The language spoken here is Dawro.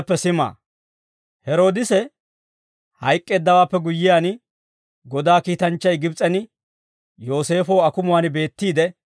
Heroodise hayk'k'eeddawaappe guyyiyaan, Godaa kiitanchchay Gibs'en Yooseefoo akumuwaan beettiide